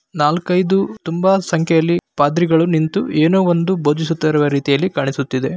ನಾಲ್ಕೈದು ತುಂಬಾ ಸಂಖ್ಯೆಯಲ್ಲಿ ಪಾದ್ರಿಗಳು ನಿಂತು ಏನೋ ಒಂದು ಭೋದಿಸುತ್ತಿರುವ ರೀತಿಯಲ್ಲಿ ಕಾಣಿಸುತ್ತಿದೆ.